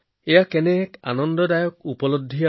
বহুতে মোক জি২০ সন্মিলনৰ সফলতাৰ কথা সোঁৱৰাই দিছিল